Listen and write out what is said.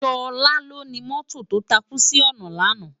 Sola lóni mòtó tó tákú si òná làná